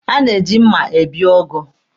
A na-eji mma ebi ụgụ.